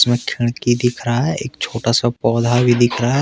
खिड़की दिख रहा है एक छोटा सा पौधा भी दिख रहा है।